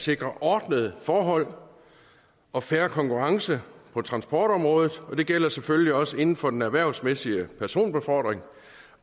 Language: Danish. sikre ordnede forhold og fair konkurrence på transportområdet og det gælder selvfølgelig også inden for den erhvervsmæssige personbefordring